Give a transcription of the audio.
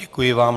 Děkuji vám.